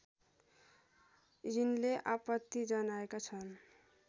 यिनले आपत्ति जनाएका छन्